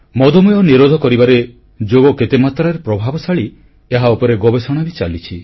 ମଧୁମେହ ନିରୋଧ କରିବାରେ ଯୋଗ କେତେମାତ୍ରାରେ ପ୍ରଭାବଶାଳୀ ଏହା ଉପରେ ଗବେଷଣା ବି ଚାଲିଛି